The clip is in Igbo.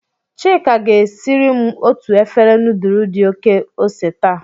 Chika ga-siri m otu efere nudulu di oke ose taa